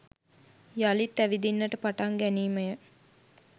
යළිත් ඇවිදින්නට පටන් ගැනීමය